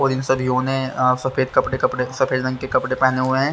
और इन सभीयों ने अह सफेद कपड़े कपड़े सफेद रंग के कपड़े पहने हुए हैं।